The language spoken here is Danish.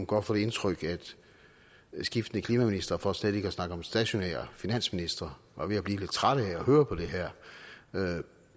godt få det indtryk at skiftende klimaministre for slet ikke at snakke om stationære finansministre var ved at blive lidt trætte af at høre på det her